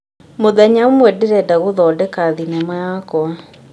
Mũthenya ũmwe, ndĩrenda gũthondeka thenema yakwa.